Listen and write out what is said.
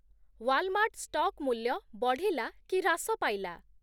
Walmart stock ମୂଲ୍ୟ ବଢିଲା କି ହ୍ରାସ ପାଇଲା ?